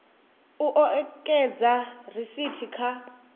u o ekedza risithi kha